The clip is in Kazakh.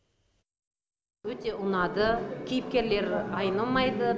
өте ұнады кейіпкерлері айнымайды